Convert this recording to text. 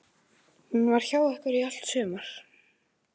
Hún var hjá ykkur í allt sumar.